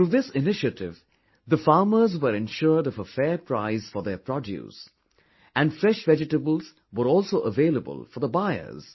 Through this initiative, the farmers were ensured of a fair price for their produce and fresh vegetables were also available for the buyers